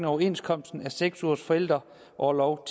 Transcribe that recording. overenskomsten af seks ugers forældreorlov